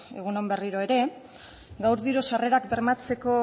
egun on berriro ere gaur diru sarrerak bermatzeko